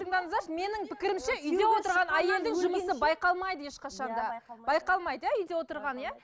тыңдаңыздаршы менің пікірімше үйде отырған әйелдің жұмысы байқалмайды ешқашанда иә байқалмайды байқалмайды иә үйде отырған иә